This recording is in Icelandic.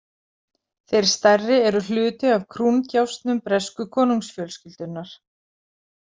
Þeir stærri eru hluti af krúndjásnum bresku konungsfjölskyldunnar.